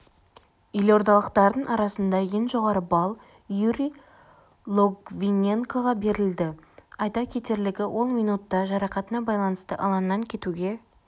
елордалықтардың арасында ең жоғарғы балл юрий логвиненкоға берілді айта кетерлігі ол минутта жарақатына байланысты алаңнан кетуге